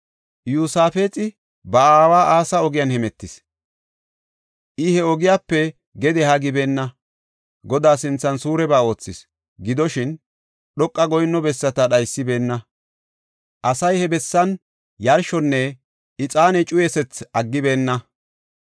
Iyosaafexi ba aawa Asa ogiyan hemetis; I he ogiyape gede haa gibeenna; Godaa sinthan suureba oothis. Gidoshin, dhoqa goyinno bessata dhaysibeenna; asay he bessan yarshonne ixaane cuyisethi aggibeenna.